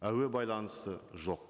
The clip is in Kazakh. әуе байланысы жоқ